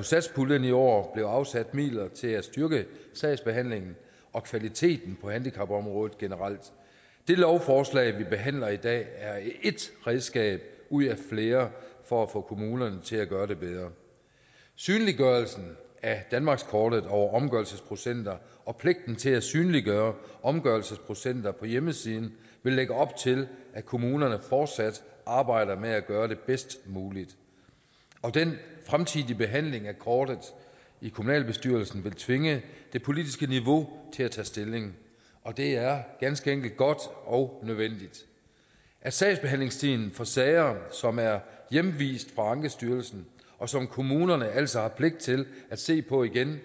satspuljen i år bliver afsat midler til at styrke sagsbehandlingen og kvaliteten på handicapområdet generelt det lovforslag vi behandler i dag er ét redskab ud af flere for at få kommunerne til at gøre det bedre synliggørelsen af danmarkskortet over omgørelsesprocenter og pligten til at synliggøre omgørelsesprocenter på hjemmesiden vil lægge op til at kommunerne fortsat arbejder med at gøre det bedst muligt den fremtidige behandling af kortet i kommunalbestyrelsen vil tvinge det politiske niveau til at tage stilling og det er ganske enkelt godt og nødvendigt at sagsbehandlingstiden for sager som er hjemvist fra ankestyrelsen og som kommunerne altså har pligt til at se på igen